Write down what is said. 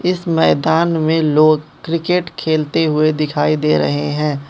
इस मैदान में लोग क्रिकेट खेलते हुए दिखाई दे रहे हैं।